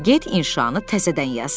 Get inşanı təzədən yaz.